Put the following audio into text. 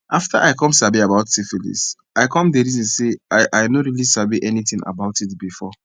after i come sabi about syphilis i come the reason say i i no really sabi anything about it before